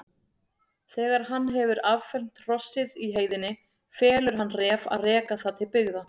Þegar hann hefur affermt hrossið í heiðinni felur hann Ref að reka það til byggða.